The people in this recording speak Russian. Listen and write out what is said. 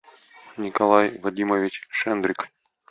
николай вадимович шендрик